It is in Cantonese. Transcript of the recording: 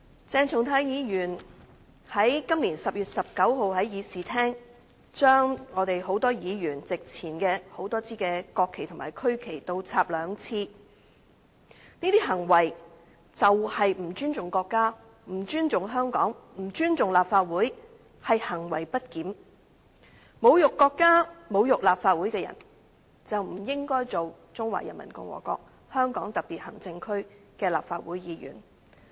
鄭松泰議員在今年10月19日，在議事廳將多位議員席前的多枝國旗和區旗倒插兩次，這些行為就是不尊重國家、不尊重香港、不尊重立法會，是行為不檢；侮辱國家、侮辱立法會的人，就不應該擔任中華人民共和國香港特別行政區的立法會議員。